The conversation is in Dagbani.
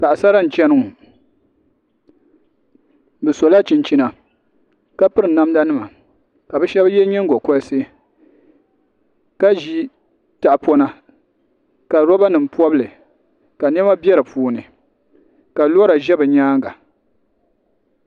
Paɣisara n-chani ŋɔ bɛ sola chinchina ka piri namdanima ka bɛ shɛba ye nyingɔkolisi ka ʒi taɣipɔna ka lɔbanima pɔbi li ka nɛma be di ni ka lɔra be bɛ nyaaŋa